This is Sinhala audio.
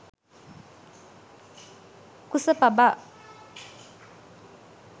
kusapaba